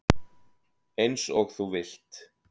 Eins og þú vilt.